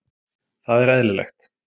Það er eðlilegt